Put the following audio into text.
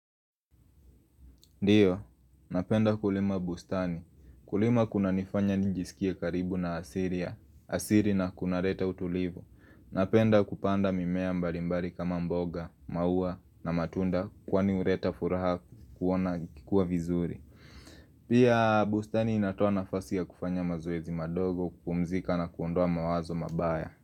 Ndio, napenda kulima bustani. Kulima kunanifanya nijisikie karibu na asili. Asili na kunaleta utulivu. Napenda kupanda mimea mbalimbali kama mboga, maua na matunda kwani huleta furaha kuona ikikua vizuri. Pia bustani inatoa nafasi ya kufanya mazoezi madogo kupumzika na kuondoa mawazo mabaya.